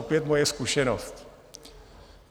Opět moje zkušenost.